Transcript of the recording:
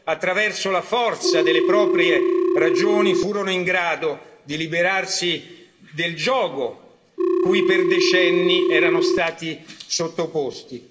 solo attraverso la forza delle proprie ragioni, furono in grado di liberarsi del giogo cui per decenni erano stati sottoposti.